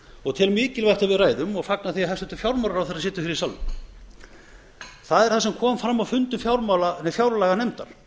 og tel mikilvægt að við ræðum og fagna því að hæstvirtur fjármálaráðherra situr í salnum það er það sem kom fram á fundi háttvirtrar fjárlaganefndar